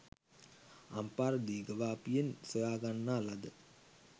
අම්පාර දීඝවාපියෙන් සොයා ගන්නා ලද